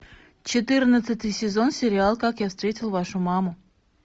четырнадцатый сезон сериал как я встретил вашу маму